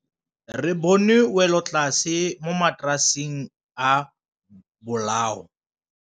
Re bone wêlôtlasê mo mataraseng a bolaô.